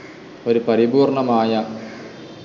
ഒരു പരിപൂർണ്ണമായ